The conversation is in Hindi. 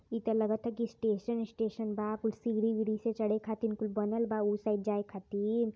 इत लगता कि स्टेशन स्टेशन बा कुल सीढ़ी वीढ़ी से चढ़े खातिन कुल बनल बा उ साइड जाय खातिन।